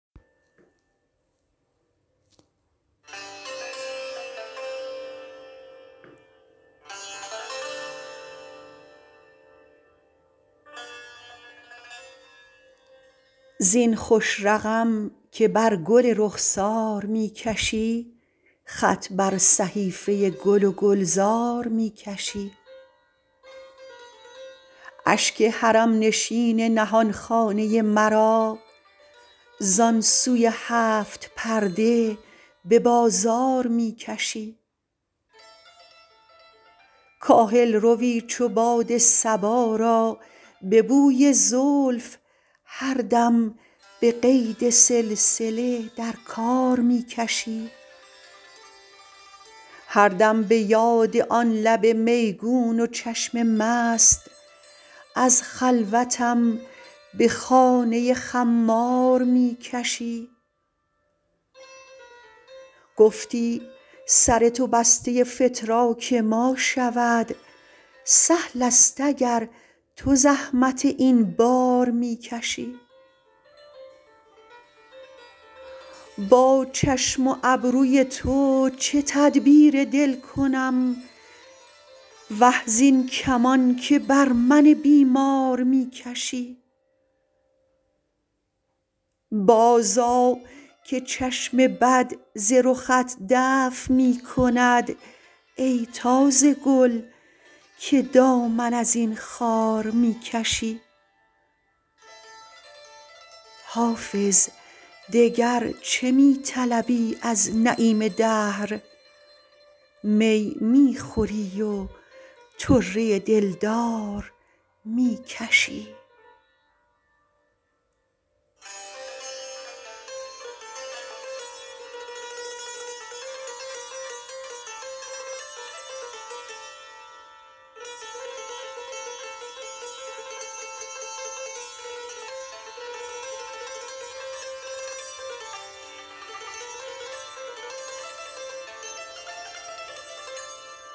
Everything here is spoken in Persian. زین خوش رقم که بر گل رخسار می کشی خط بر صحیفه گل و گلزار می کشی اشک حرم نشین نهان خانه مرا زان سوی هفت پرده به بازار می کشی کاهل روی چو باد صبا را به بوی زلف هر دم به قید سلسله در کار می کشی هر دم به یاد آن لب میگون و چشم مست از خلوتم به خانه خمار می کشی گفتی سر تو بسته فتراک ما شود سهل است اگر تو زحمت این بار می کشی با چشم و ابروی تو چه تدبیر دل کنم وه زین کمان که بر من بیمار می کشی بازآ که چشم بد ز رخت دفع می کند ای تازه گل که دامن از این خار می کشی حافظ دگر چه می طلبی از نعیم دهر می می خوری و طره دلدار می کشی